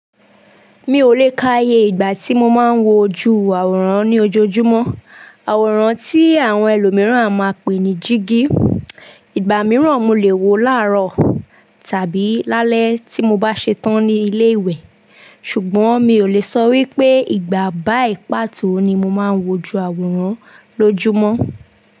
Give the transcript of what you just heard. Mi ò lè káaye ìgbà tí mo máa ń wojú àwòrán ní ojoojúmọ́. Àwòrán tí àwọn ẹlòmíràn a máa pè ní jígí. Ìgbà mìíràn mo lè wo láàárọ̀ tàbí lálẹ́ tí mo bá ṣe tán ní ilé ìwẹ̀. Ṣùgbọ́n mi ò lè sọ wípé ìgbà báyi pàtó ni mo máa ń wojú àwòrán lójúmọ́.